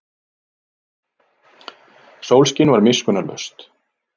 Sólskin var miskunnarlaust.